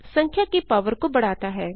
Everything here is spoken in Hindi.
संख्या की पावर को बढ़ता है